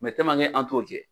Mɛ an t'o kɛ